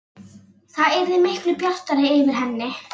Það yrði miklu bjartara yfir henni.